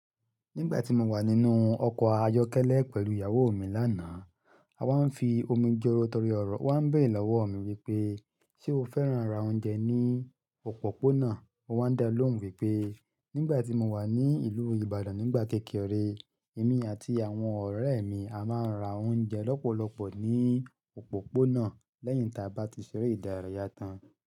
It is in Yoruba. "Nígbà tí mo wà nínú ọkọ̀ ayọ́kẹ́lẹ́ pẹ̀lú ìyàwó mi lánàá, a máa ń fi omi jọ́rọ́ torí ọ̀rọ̀, ó wa ń bẹ̀ere lọ́wọ́ mi wípé: 'Ṣé o fẹ́ràn rá oúnjẹ ní òpópónà?' Mo má ń daa lóhùn wípé: 'Nígbà tí mo wà ní ìlú Ìbàdàn nígbà kékeré, èmi àti àwọn ọ̀rẹ́ mi a máa ń ra oúnjẹ lọ́pọ̀lọpọ̀ ní òpópónà lẹ́yìn ta bá ti ṣeré ìdárayá tán.'